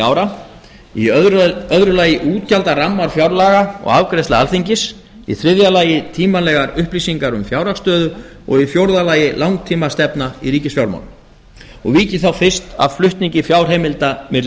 ára í öðru lagi útgjaldarammar fjárlaga og afgreiðsla alþingis í þriðja lagi tímanlegar upplýsingar um fjárhagsstöðu og í fjórða lagi langtímastefna í ríkisfjármálum og vík ég þá fyrst að flutningi fjárheimilda milli